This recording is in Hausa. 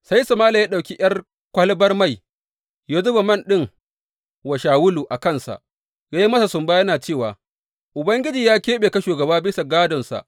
Sai Sama’ila ya ɗauki ’yar kwalabar mai, ya zuba man ɗin wa Shawulu a kansa, ya yi masa sumba yana cewa, Ubangiji ya keɓe ka shugaba bisa gādonsa.